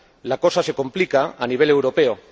la cosa se complica a nivel europeo.